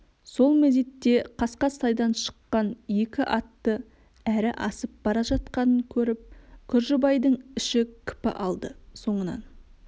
сол мезет қасқасайдан шықкан екі атты әрі асып бара жатқанын көріп күржібайдың іші кіпі алды соңынан